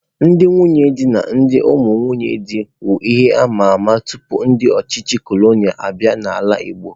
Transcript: Ndị nwunye di na ndị ụmụ nwunye dị wu ihe amama tupu ndị ọchịchị cọlọnịa abịa n'ala igbo.